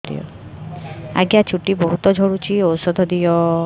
ଆଜ୍ଞା ଚୁଟି ବହୁତ୍ ଝଡୁଚି ଔଷଧ ଦିଅ